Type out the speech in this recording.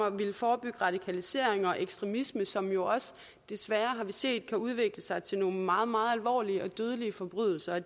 at ville forebygge radikalisering og ekstremisme som vi jo desværre har set kan udvikle sig til nogle meget meget alvorlige og dødelige forbrydelser og